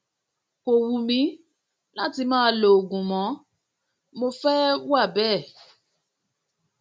kò wù mí láti máa lo oògùn mọ mo fẹ um wà bẹẹ